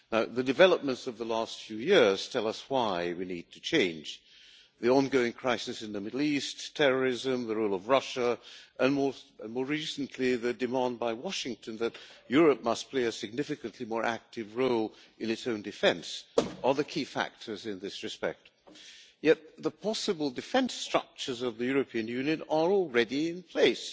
The developments of the last few years tell us why we need to change the ongoing crisis in the Middle East, terrorism, the rule of Russia, and more recently the demand by Washington that Europe must play a significantly more active role in its own defence are the key factors in this respect. Yet the possible defence structures of the European Union are already in place,